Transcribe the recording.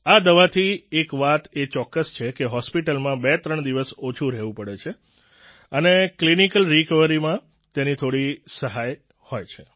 આ દવાથી એક વાત એ ચોક્કસ છે કે હોસ્પિટલમાં બેત્રણ દિવસ ઓછું રહેવું પડે છે અને ક્લિનિકલ રિકવરીમાં તેની થોડી સહાય હોય છે